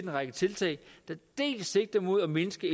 række tiltag der dels sigter mod at mindske